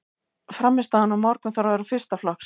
Frammistaðan á morgun þarf að vera fyrsta flokks.